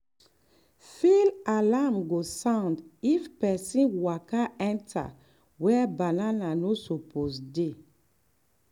field alarm go um sound if pesin waka enter where banana no suppose dey.